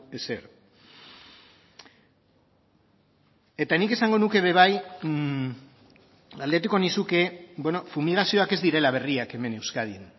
ezer eta nik esango nuke ere bai galdetuko nizuke fumigazioak ez direla berriak hemen euskadin